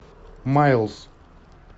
майлз